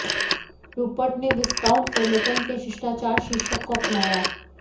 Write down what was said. Rupert ने viscount Trematon के शिष्टाचार शीर्षक को अपनाया